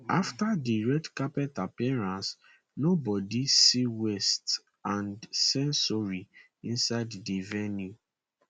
after di red carpet appearance nobody see west and censori inside di venue